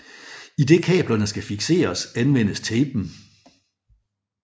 Idet kablerne skal fikseres anvendes tapen